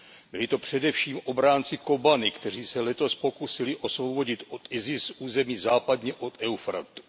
Byli to především obránci Kobani, kteří se letos pokusili osvobodit od IS území západně od Eufratu.